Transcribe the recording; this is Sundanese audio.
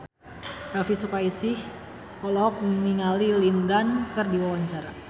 Elvy Sukaesih olohok ningali Lin Dan keur diwawancara